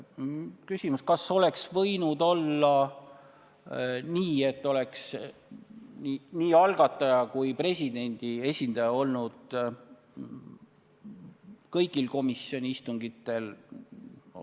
Küsimus: kas oleks võinud olla nii, et nii algataja kui ka presidendi esindaja oleksid olnud kõigil komisjoni istungitel?